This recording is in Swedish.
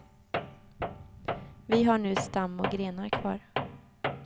Vi har nu stam och grenar kvar.